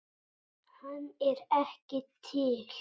Hann er ekki til!